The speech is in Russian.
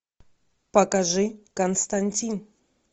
покажи константин